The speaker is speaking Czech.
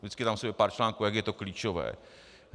Vždycky tam je pár článků, jak je to klíčové.